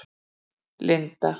Inda